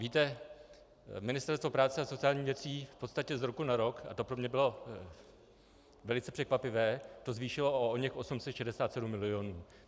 Víte, Ministerstvo práce a sociálních věcí v podstatě z roku na rok, a to pro mě bylo velice překvapivé, to zvýšilo o oněch 867 milionů.